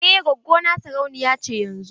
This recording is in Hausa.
Eh gwaggo na sarauniya ce yanzun.